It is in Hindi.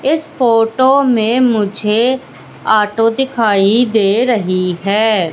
इस फोटो में मुझे आटो दिखाई दे रही हैं।